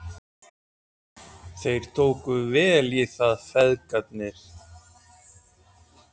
Þeir tóku vel í það, feðgarnir.